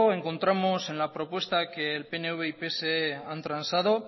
encontramos en la propuesta que pnv y pse han transado